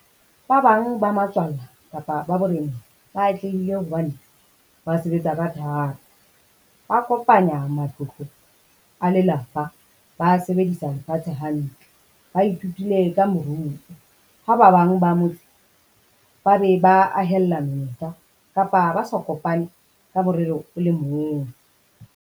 Ba bang ba matswalla kapa ba boreneng, ba atlehile hobane ba sebetsa ka thata. Ba kopanya matlotlo a lelapa, ba sebedisa lefatshe hantle, ba ithutile ka moruo. Ha ba bang ba motse ba be ba ahella menyetla kapa ba sa kopane ka morero o le mong.